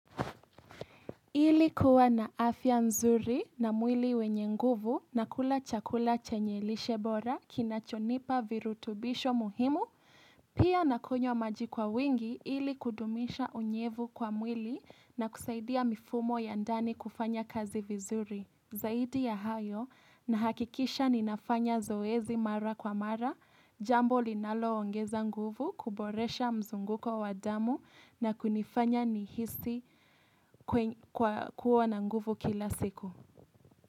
Ili kuwa na afya mzuri na mwili wenye nguvu na kula chakula chenye lishe bora kina chonipa virutubisho muhimu, pia na kunywa maji kwa wingi ili kudumisha unyevu kwa mwili na kusaidia mifumo ya ndani kufanya kazi vizuri. Zaidi ya hayo na hakikisha ninafanya zoezi mara kwa mara, jambo linalo ongeza nguvu, kuboresha mzunguko wa damu na kunifanya ni hisi kuwa na nguvu kila siku.